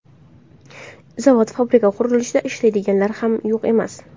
Zavod, fabrika, qurilishlarda ishlaydiganlari ham yo‘q emas.